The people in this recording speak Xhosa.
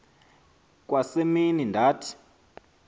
kwa semini ndathi